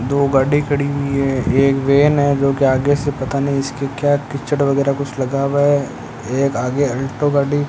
दो गाड़ी खड़ी हुई है एक वैन है जो के आगे से पता नहीं इसके क्या कीचड़ वगैरह कुछ लगा हुआ है एक आगे अल्टो गाड़ी --